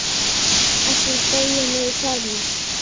Hellið deiginu í formið.